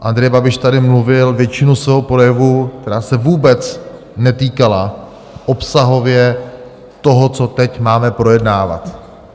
Andrej Babiš tady mluvil většinu svého projevu, která se vůbec netýkala obsahově toho, co teď máme projednávat.